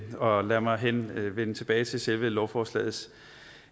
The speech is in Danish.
og lad mig vende vende tilbage til selve lovforslagets